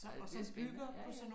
Ja det spændende ja ja